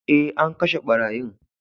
Eh, an kashe barayin.